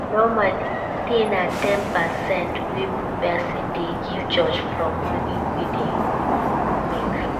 Normally tithe na ten percent wey person dey give church from money wey im dey make